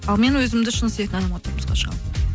ал мен өзімді шын сүйетін адамға тұрмысқа шығамын